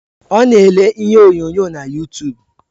Ọ na ele ihe onyonyo na yutub